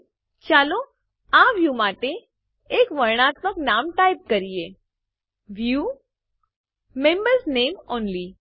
અહીં ચાલો આ વ્યું માટે એક વર્ણનાત્મક નામ ટાઈપ કરીએ View મેમ્બર્સ નામે ઓનલી